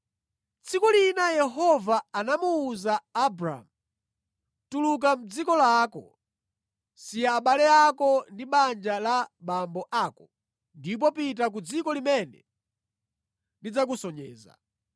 Tsiku lina Yehova anamuwuza Abramu kuti, “Tuluka mʼdziko lako. Siya abale ako ndi banja la abambo ako ndipo pita ku dziko limene ndidzakusonyeza.